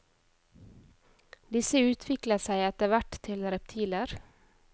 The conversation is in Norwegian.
Disse utviklet seg etterhvert til reptiler.